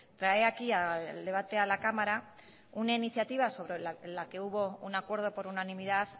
trae aquí el debate a la cámara una iniciativa sobre la que hubo un acuerdo por unanimidad